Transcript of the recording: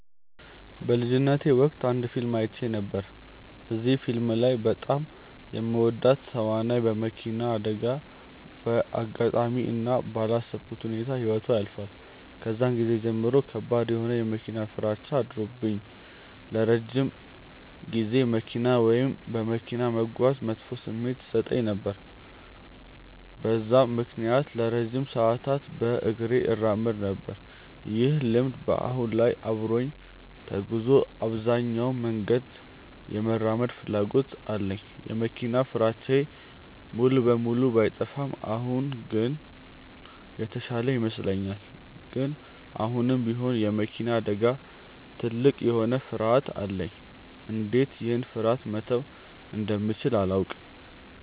በልጅነቴ ወቅት አንድ ፊልም አይቼ ነበር። እዚህ ፊልም ላይ በጣም የምወዳት ተዋናይ በመኪና አደጋ በአጋጣሚ እና ባላሰብኩት ሁኔታ ህይወቷ ያልፋል። ከዛን ጊዜ ጀምሮ ከባድ የሆነ የመኪና ፍራቻ አድሮብኝ ለረጅም ጊዜ መኪና ወይም በመኪና መጓዝ መጥፎ ስሜት ይሰጠኝ ነበር። በዛም ምክንያት ለረጅም ሰዓታት በእግሬ እራመድ ነበር። ይህ ልምድ በአሁን ላይ አብሮኝ ተጉዞ አብዛኛውን መንገድ የመራመድ ፍላጎት አለኝ። የመኪና ፍራቻዬ ሙሉ በሙሉ ባይጠፋም አሁን ግን የተሻለ ይመስለኛል። ግን አሁንም ቢሆን የመኪና አደጋ ትልቅ የሆነ ፍርሀት አለኝ። እንዴት ይህን ፍርሀቴ መተው እንደምችል አላውቅም።